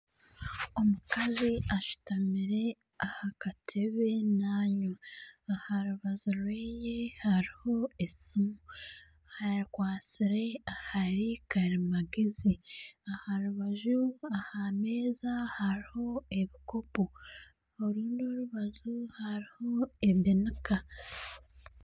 Omukazi ashutamire aha katebe nanywa ,aha rubaju rweye hariho esimu ,akwatsire ahari karimagyezi aha rubaju aha meeza hariho ebikopo orundi orubaju hariho ebinika.